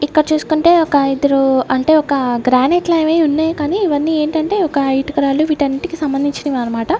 ఇక్కడ చూస్కుంటే ఒక ఇద్దరు అంటే ఒక గ్రానైట్ లావి ఉన్నాయ్ కానీ ఇవన్నీ ఏంటంటే ఒక ఇటుక రాళ్లు వీటన్నిటికి సంబంధించినవి అన్నమాట.